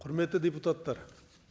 құрметті депутаттар